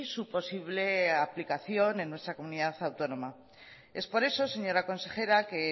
su posible aplicación en nuestra comunidad autónoma es por eso señora consejera que